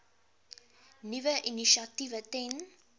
nuwe initiatiewe ten